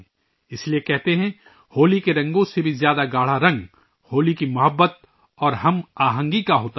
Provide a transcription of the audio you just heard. اسی لئے کہتے ہیں ، ہوکی کے رنگوں سے بھی زیادہ گہرا رنگ ، ہولی کی محبت اور ہم آہنگی کا ہوتا ہے